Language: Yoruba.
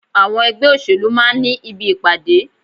Àwọn ẹgbẹ́ òṣèlú máa ń ní ibi ìpàdé.